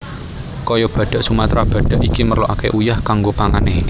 Kaya badhak Sumatra badhak iki merloaké uyah kanggo pangané